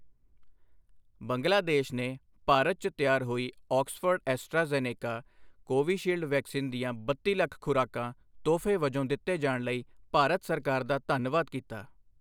ਬੰਗਲਾਦੇਸ਼ ਨੇ ਭਾਰਤ 'ਚ ਤਿਆਰ ਹੋਈ Oxford Astra Zeneca Covishield vaccine ਦੀਆਂ ਬੱਤੀ ਲੱਖ ਖ਼ੁਰਾਕਾਂ ਤੋਹਫ਼ੇ ਵਜੋਂ ਦਿੱਤੇ ਜਾਣ ਲਈ ਭਾਰਤ ਸਰਕਾਰ ਦਾ ਧੰਨਵਾਦ ਕੀਤਾ।